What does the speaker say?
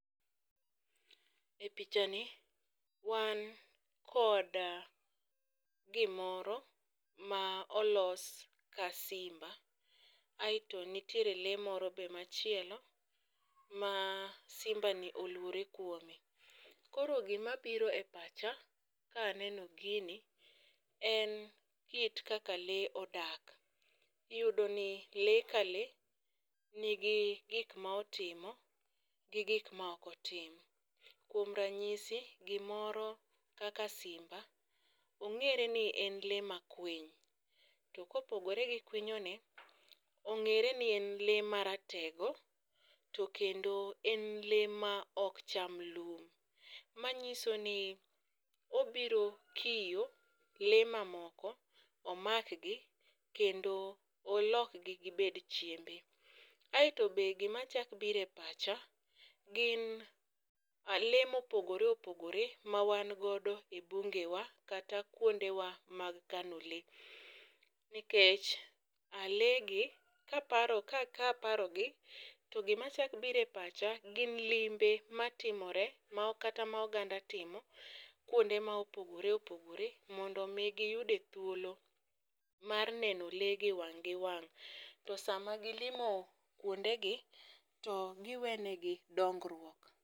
E picha ni wan kod gimoro ma olos ka simba. Aeto nitiere lee moro be machielo ma simba ni oluore kuome. Koro gima biro e pacha kaneno gini en kit kaka lee odak. Iyudo ni lee ka lee nigi gik ma otimo gi gik ma ok otim. Kuom ranyisi gimoro kaka simba , ong'ere ni en lee makwiny to kopogore gi kwinyo ne ong'ere ni en lee ma ratego to kendo en lee ma ok cham lum. Manyiso ni obiro kiyo lee mamoko , omakgi kendo olok gi gibed chiembe. Aeto be gima chak bire pacha gin lee mopogore opogore ma wan godo e bunge wa kata kuonde wa mag kano lee nikech alee gi kaparo ka kaparo gi to gima chak bire pacha gin limbe matimore ma kata ma oganda timo kuonde ma opogore opogore mondo mi giyude thuolo mar neno lee gi wang' gi wang' . To sama gilimo kuonde gi to giwene gi dongruok.